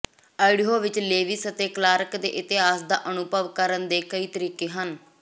Idaho ਵਿੱਚ Lewis ਅਤੇ Clark ਦੇ ਇਤਿਹਾਸ ਦਾ ਅਨੁਭਵ ਕਰਨ ਦੇ ਕਈ ਤਰੀਕੇ ਹਨ